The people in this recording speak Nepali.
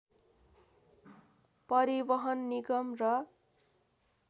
परिवहन निगम र